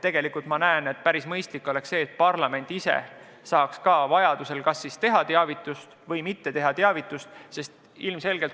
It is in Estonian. Tegelikult oleks minu arvates päris mõistlik, kui parlament ise saaks ka vajaduse korral ka otsustada, kas teha teavitus või mitte teha.